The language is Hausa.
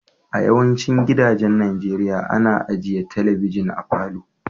A yawacin gidajen Nijeriya, ana ajia telibijin a falo.